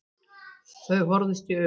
Þau horfðust í augu.